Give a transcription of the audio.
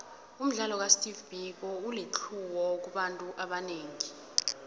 umdlalo ka steve biko ulitlhuwo kubantu abanengi